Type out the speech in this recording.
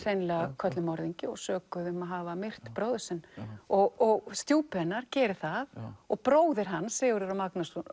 hreinlega kölluð morðingi og sökuð um að hafa myrt bróður sinn og stjúpi hennar gerir það og bróðir hans Sigurður a Magnússon